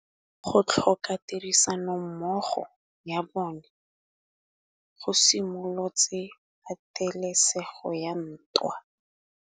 Go tlhoka tirsanommogo ga bone go simolotse patêlêsêgô ya ntwa.